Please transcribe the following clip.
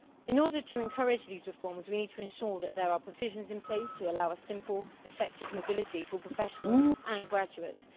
In order to encourage these reforms, we need to ensure that there are provisions in place to allow simple, effective mobility for professionals and graduates.